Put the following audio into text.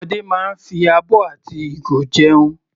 Àwọn ọmọdé máa ń fi abọ́ àti ìgo jẹun.